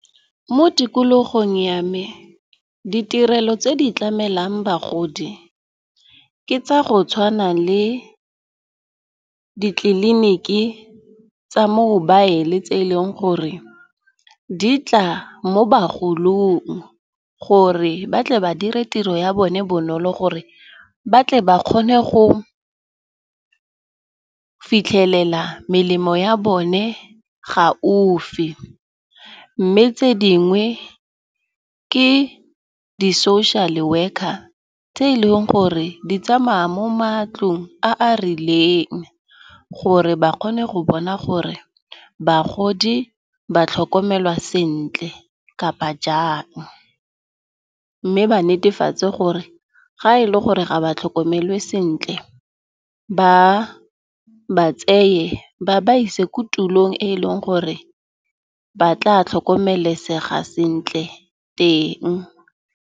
Mo tikologong ya me ditirelo tse di tlamelang bagodi ke tsa go tshwana le ditleliniki tsa mobile le tse eleng gore, di tla mo bagolong gore ba tle ba dire tiro ya bone bonolo gore ba tle ba kgone go fitlhelela melemo ya bone ga ofe. Mme tse dingwe ke di social worker tse e leng gore di tsamaya mo matlong a a rileng, gore ba kgone go bona gore bagodi ba tlhokomelwa sentle kapa jang. Mme ba netefatse gore ga e le gore ga ba tlhokomelwe sentle ba ba tseye ba ba ise ko tulong e e leng gore ba tla tlhokomelesega sentle teng.